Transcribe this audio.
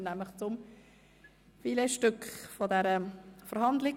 Nun kommen wir zum Filetstück dieser Verhandlung.